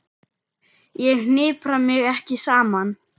Ég hnipra mig ekki saman.